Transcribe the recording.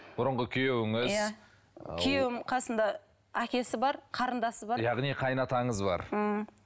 бұрынғы күйеуіңіз иә күйеуімнің қасында әкесі бар қарындасы бар яғни қайын атаңыз бар ммм